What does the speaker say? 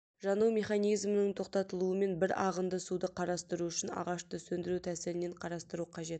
жану механизмінің тоқтатылуымен бір ағынды суды қарастыру үшін ағашты сөндіру тәсілінен қарастыру қажет